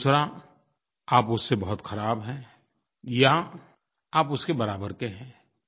दूसरा आप उससे बहुत ख़राब हैं या आप उसके बराबर के हैं